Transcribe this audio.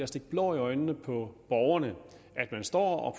stikke blår i øjnene på borgerne at man står